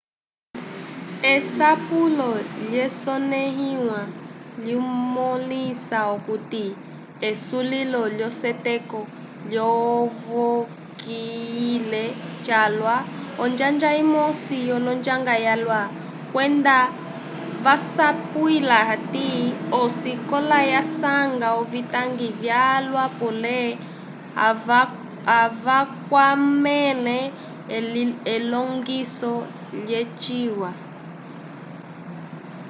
esapulo lyasonẽhiwa lyamõlisa okuti esulilo lyaseteko lyavokiyile calwa onjanja imosi l'onjang yalwa kwenda vasapwila hati osikola yasanga ovitangi vyalwa pole avakwamẽle elongiso lyaciwa